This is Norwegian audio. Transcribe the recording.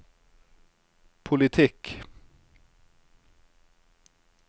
politikk